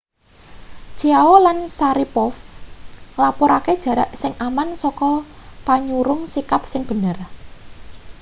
chiao lan sharipov nglapurake jarak sing aman saka panyurung sikap sing bener